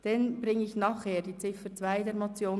Zuerst ist über die Ziffer 2 der Motion abzustimmen.